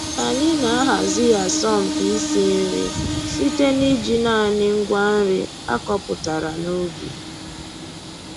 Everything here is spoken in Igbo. Anyị na-ahazi asọmpi isi nri site n'iji naanị ngwa nri a kọpụtara n'ubi